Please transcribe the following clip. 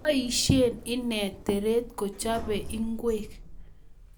Boisie ine teret ko chopee ngwek